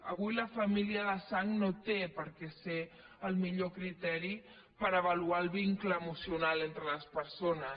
avui la família de sang no té per què ser el millor criteri per avaluar el vincle emocional entre les persones